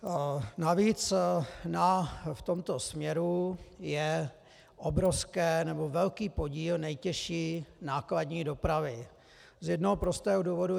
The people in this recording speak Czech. Navíc v tomto směru je obrovský, nebo velký podíl nejtěžší nákladní dopravy - z jednoho prostého důvodu.